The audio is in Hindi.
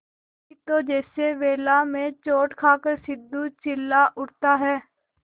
नहीं तो जैसे वेला में चोट खाकर सिंधु चिल्ला उठता है